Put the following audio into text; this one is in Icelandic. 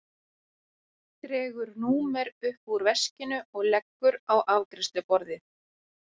Dregur númer upp úr veskinu og leggur á afgreiðsluborðið.